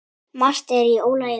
Margt er í ólagi þarna.